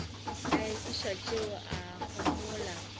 a ekwa tšeo a homola